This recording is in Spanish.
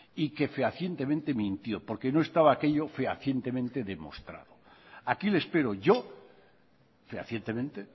y que fehacientemente mintió porque no estaba aquello fehacientemente demostrado aquí le espero yo fehacientemente